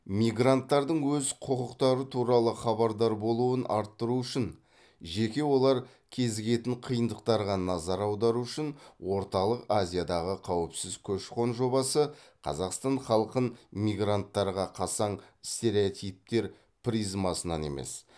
мигранттардың өз құқықтары туралы хабардар болуын арттыру үшін жеке олар кезігетін қиындықтарға назар аудару үшін орталық азиядағы қауіпсіз көші қон жобасы қазақстан халқын мигранттарға қасаң стереотиптер призмасынан емес